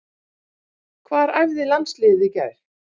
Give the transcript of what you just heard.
Hvar æfði landsliðið í gær?